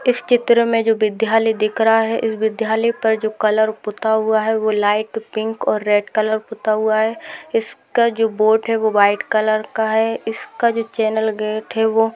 इस चित्र मे जो विद्यालय दिख रहा है इस विद्यालय पर जो कलर पुता हुआ है वो लाइट पिंक और रेड कलर पुता हुआ है इसका जो बोट है वो व्हाइट कलर का है इसका जो चेनल गेट है वो --